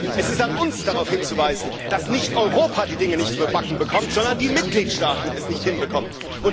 Es ist an uns darauf hinzuweisen, dass nicht Europa die Dinge nicht mehr gebacken bekommt, sondern die Mitgliedstaaten es nicht hinbekommen.